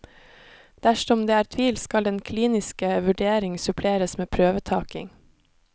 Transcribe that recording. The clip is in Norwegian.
Dersom det er tvil skal den kliniske vurdering suppleres med prøvetaking.